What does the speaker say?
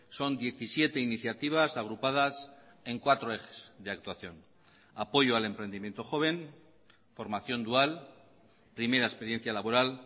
son diecisiete iniciativas agrupadas en cuatro ejes de actuación apoyo al emprendimiento joven formación dual primera experiencia laboral